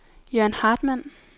Jørn Hartmann